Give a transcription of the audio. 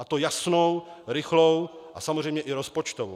A to jasnou, rychlou a samozřejmě i rozpočtovou.